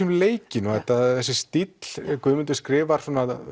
um leikinn þessi stíll Guðmundur skrifar